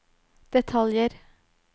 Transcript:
detaljer